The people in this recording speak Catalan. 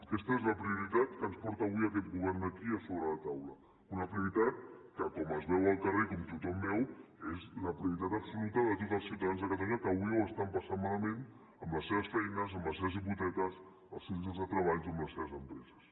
aquesta és la prioritat que ens porta avui aquest govern aquí a sobre la taula una prioritat que com es veu al carrer i com tothom veu és la prioritat absoluta de tots els ciutadans de catalunya que avui ho estan passant malament en les seves feines amb les seves hipoteques als seus llocs de treball o en les seves empreses